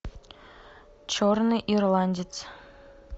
черный ирландец